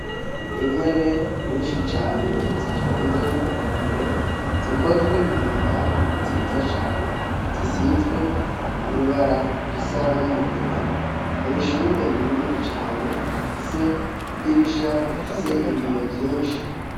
Intebe nyishi cane zitonze ku murongo zikozwe mu mbaho nziza cane zisizwe n'ibara risa n'umugina mw'ishuri rinini cane rifise idirisha rifise ibiyo vyishi.